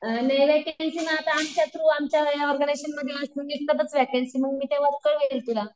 आमच्या थ्रू आमच्या ऑर्गनायजेशनमध्ये असते वेकेंसी मग मी तेंव्हा कळवेन तुला.